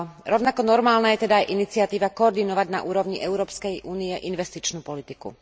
Rovnako normálna je teda aj iniciatíva koordinovať na úrovni Európskej únie investičnú politiku.